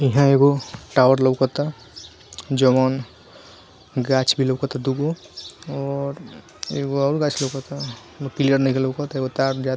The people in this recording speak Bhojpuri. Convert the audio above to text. इहा एगो टावर लउकता जोवन गाछ भी लउकता दूगो और एगो और गाछ लउकता क्लियर नइखे लउकत एगो तार जात --